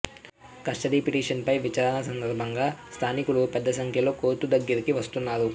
custody petition పై విచారణ సందర్భంగా స్థానికులు పెద్ద సంఖ్యలో కోర్టు దగ్గరికి వస్తున్నారు